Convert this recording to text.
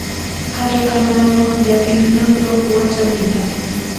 kata kamano, jatim nonro wacho niya,